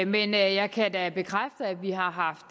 men jeg kan da bekræfte at vi har haft